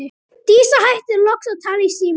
Dísa hættir loks að tala í símann.